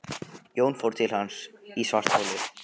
Jón fór til hans í svartholið.